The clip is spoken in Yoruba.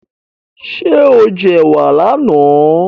Ṣé o jẹ ẹ̀wà láàná?